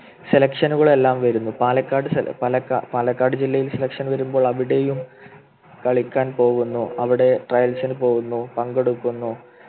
Selection കളെല്ലാം വരുമ്പോൾ പാലക്കാട് പാലക്കാ പാലക്കാട് ജില്ലയിലെ Selection വരുമ്പോൾ അവിടെയും കളിക്കാൻ പോകുന്നു അവിടെ Trails ന് പോകുന്നു പങ്കെടുക്കുന്നു